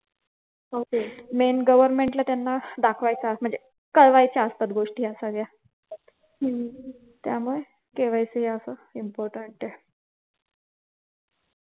main government ला त्यांना दाखवायचा असतो म्हणजे कळवायच्या असतात गोष्टी या सगळ्या हम्म त्यामुळे KYC हे अस important आहे